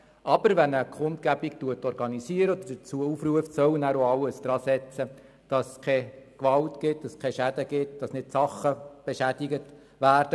Aber wer eine Kundgebung organsiert oder dazu aufruft, soll nachher auch alles daran setzen, dass es keine Gewalt gibt und dass keine Sachen beschädigt werden.